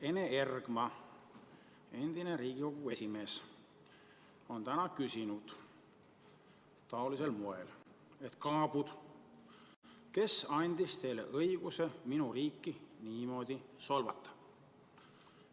Ene Ergma, endine Riigikogu esimees, on täna küsinud taolisel moel: "Kaabud, kes andis teile õiguse minu riiki niimoodi solvata?